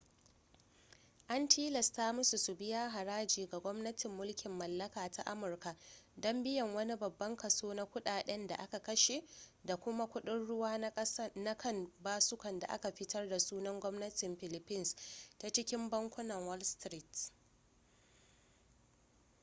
an tilasta musu su biya haraji ga gwamnatin mulkin mallaka ta amurka don biyan wani babban kaso na kudaden da aka kashe da kuma kuɗin-ruwa na kan basukan da aka fitar da sunan gwamnatin philippines ta cikin bankunan wall street